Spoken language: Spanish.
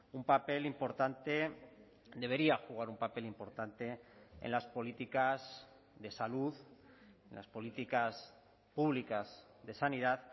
un papel importante debería jugar un papel importante en las políticas de salud en las políticas públicas de sanidad